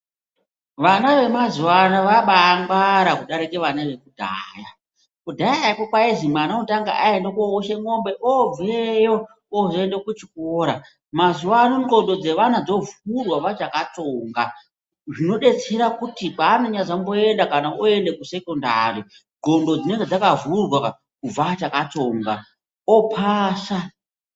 Vana vemazuva ano vabaa ngwara kudarike vana vekudhayaa, kudhaya poo kwaizi mwana unotanga aende koushe mombe obveyo ozoende kuchikora mazuva ano ndxondo dzevana dzovhurwa vachaka tsonga zvinodetsera kuti kwaano nyazomboenda kana oende kusekondari ndxondo dzinenge dzakavhurwa kubva achaka tsonga opasa.